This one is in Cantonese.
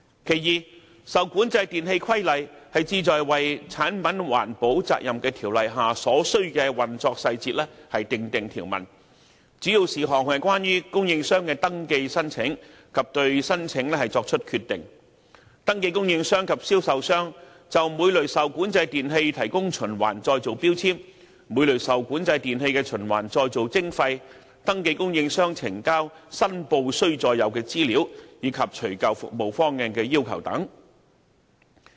第二，《受管制電器規例》旨在為《產品環保責任條例》下所須的運作細節訂定條文，主要事項是關於供應商的登記申請及對申請作出決定，登記供應商及銷售商就每類受管制電器提供循環再造標籤，每類受管制電器的循環再造徵費，登記供應商呈交申報須載有的資料，以及除舊服務方案的要求等。